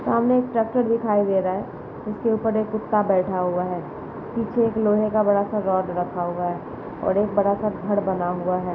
सामने एक ट्रेक्टर दिखाई दे रहा है उसके ऊपर एक कुत्ता बैठा हुआ है। पीछे एक लोहे का बड़ा सा रोड रखा हुआ है और एक बड़ा सा घर बना हुआ है।